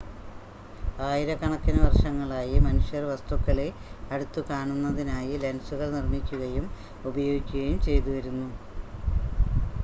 ആയിരക്കണക്കിന് വർഷങ്ങളായി മനുഷ്യർ വസ്തുക്കളെ അടുത്തുകാണുന്നതിനായി ലെൻസുകൾ നിർമ്മിക്കുകയും ഉപയോഗിക്കുകയും ചെയ്തുവരുന്നു